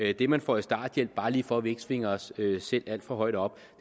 at det man får i starthjælp bare lige for at vi ikke svinger os selv alt for højt op